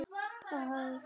Ha, hvað? spyr ég.